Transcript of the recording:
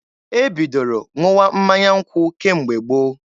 E bidoro ṅụwa mmanya nkwụ kemgbe gboo.